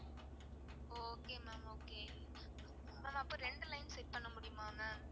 okay ma'am okay ma'am அப்ப ரெண்டு line set பண்ண முடியுமா ma'am?